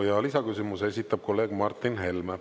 Ja lisaküsimuse esitab kolleeg Martin Helme.